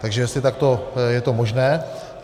Takže jestli je to takto možné?